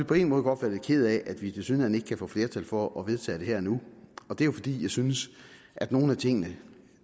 på en måde godt være lidt ked af at vi tilsyneladende ikke kan få flertal for at vedtage det her og nu og det er jo fordi jeg synes at nogle af tingene